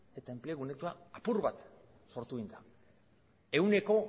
eta enplegu netoa apur bat sortu genuen ehuneko